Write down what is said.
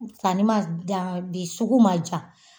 Sanni ma ja de sugu ma ja